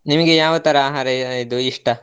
ನಿಮಗೆ ಯಾವ ತರಾ ಆಹಾರ ಇ~ ಇದು ಇಷ್ಟ?